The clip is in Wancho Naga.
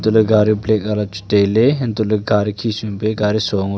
la gari black wala chu tailey hantoh ley gari khi sum pe gari o ngo e.